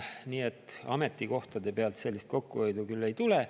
Nii et ametikohtade pealt sellist kokkuhoidu küll ei tule.